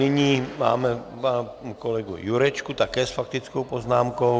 Nyní mám kolegu Jurečku také s faktickou poznámkou.